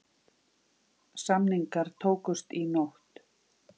Samningar tókust í nótt.